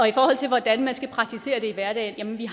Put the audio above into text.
i forhold til hvordan man skal praktisere det i hverdagen har vi